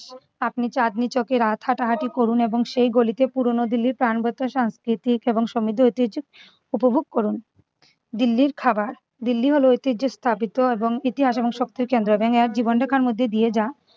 আপনি চাঁদনী চকের রাত হাঁটাহাঁটি করুন এবং সেই গলিতে পুরোনো দিল্লির প্রানবাতাস সাংস্কৃতিক এবং সমৃদ্ধে ঐতিহ্য উপভোগ করুন। দিল্লির খাবার দিল্লি হলো ঐতিহ্য স্থাপিত এবং ইতিহাস এবং শক্তি কেন্দ্র এবং এক জীবনরেখা মধ্যে দিয়ে যা